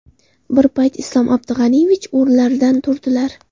Bir payt Islom Abdug‘aniyevich o‘rinlaridan turdilar.